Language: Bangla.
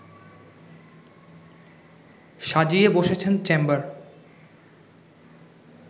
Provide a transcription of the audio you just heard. সাজিয়ে বসেছেন চেম্বার